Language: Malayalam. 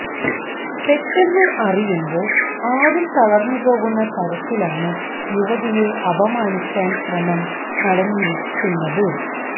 പെട്ടെന്ന് അറിയുമ്പോൾ ആരും തളർന്നുപോകുന്ന തരത്തിലാണ് യുവതിയെ അപമാനിക്കാൻ ശ്രമം നടന്നിരിക്കുന്നത്